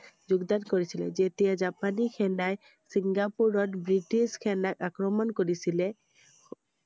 যোগদান কৰিছিলে যেতিয়া জাপানি সেনাই চিঙ্গাপুৰত ব্ৰিটিছ সেনাক আক্ৰমণ কৰিছিলে